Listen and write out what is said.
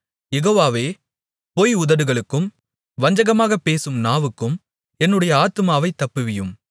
யெகோவாவே பொய் உதடுகளுக்கும் வஞ்சகமாக பேசும் நாவுக்கும் என்னுடைய ஆத்துமாவைத் தப்புவியும்